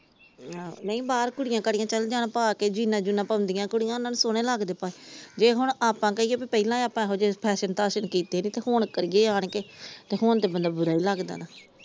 ਨਹੀਂ ਆਹ ਬਾਹਰ ਕੁੜੀਆਂ ਕਾੜੀਆਂ ਚੱਲ ਜਾਣ ਪਾ ਕੇ ਜੀਈਨਾ ਜੂਨਾ ਪਾਉਂਦੀਆਂ ਕੁੜੀਆਂ ਉਹਨਾਂ ਨੂੰ ਸੋਹਣੇ ਲੱਗਦੇ ਪਾ ਏ ਜੇ ਹੁਣ ਆਪਾ ਕਹੀਏ ਪਹਿਲਾ ਆਪਾ ਇਹੋ ਜੇਹੇ ਫੈਸ਼ਨ ਥਾਸ਼ਨ ਕੀਤੇ ਨੀ ਤੇ ਹੁਣ ਕਰੀਏ ਆਣਕੇ ਹੁਣ ਤੇ ਹੁਣ ਬੰਦਾ ਬੁਰਾ ਈ ਲੱਗਦਾ ਹਣਾ।